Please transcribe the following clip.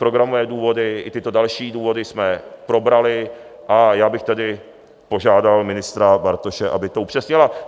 Programové důvody i tyto další důvody jsme probrali, a já bych tedy požádal ministra Bartoše, aby to upřesnil.